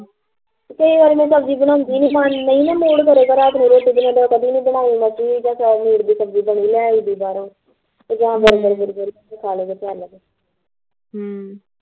ਕਈ ਵਾਰ ਮੈਂ ਸਬਜ਼ੀ ਬਣਾਉਦੀ ਨੀ ਨਹੀਂ ਨਾ ਮੁੜ ਮੇਰਾ ਮੈਂ ਰਾਤ ਨੂੰ ਰੋਟੀ ਬਗੈਰਾ ਕਦੀ ਨੀ ਬਣਾਈ ਲੈ ਆਈ ਦੀ ਬਾਹਰੋਂ ਤੇ ਬਰਗਰ ਬੁਰਗਰ ਖਾ ਲੈਦੇ ਲਿਆ ਕੇ ਹਮ